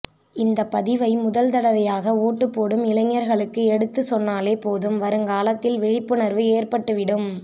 இந்த பதிவை முதல்தடவையாக வோட்டு போடும் இளைஞர்களுக்கு எடுத்து சொன்னாலே போதும் வருங்காலத்தில் விழிப்புணர்வு ஏற்பட்டுவிடும்